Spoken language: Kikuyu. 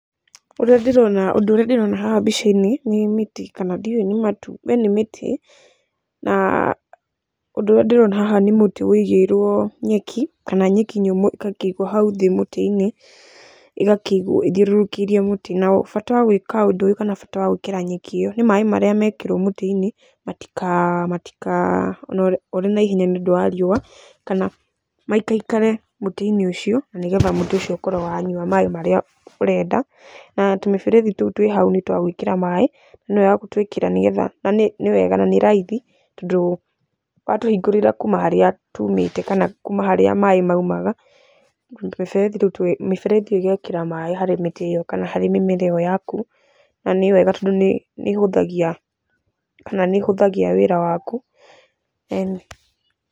Ũrĩa ndĩrona ũndũ ũrĩa ndĩrona haha mbica-inĩ, nĩ mĩtĩ kana ndiũĩ kana nĩ matũmbĩ nĩ mĩtĩ, na ũndũ ũrĩa ndĩrona haha nĩ mũtĩ ũigĩirwo nyeki, kana nyeki nyũmũ ĩgakĩigwo hau thĩ mũtĩ-inĩ, ĩgakĩigwo ĩthiũrũrũkĩirie mũtĩ. Na bata wa gwĩka ũndũ ũyũ kana bata wa gwĩkĩra nyeki ĩyo nĩ maĩ marĩa mekĩrwo mũtĩ-inĩ matikanore nĩ riũa kana maikaikare mũtĩ-inĩ ũcio nĩgetha mütĩ ũcio ũkorwo wanyua maĩ marĩa ũrenda. Na tũmĩberethi tũu twĩ hau nĩ twa gwĩkĩra maĩ, ĩno ya gũtwĩkĩra nĩwega na nĩ raithi tondũ watũhingũrĩra kuuma harĩa tumĩte kana kuma harĩa maĩ maumaga, mĩberethi ĩyo ĩgekĩra maĩ harĩ mĩtĩ ĩyo kana harĩ mĩmera ĩyo yaku, na nĩwega tondũ nĩ ĩhuthagia kana nĩ ĩhũthagia wĩra waku.